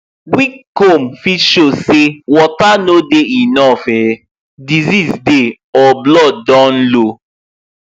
weak comb fit show say water no dey enough um disease dey or blood don low